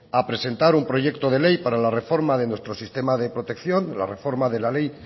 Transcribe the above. a presentar un proyecto de ley para la reforma de nuestro sistema de protección la reforma de la ley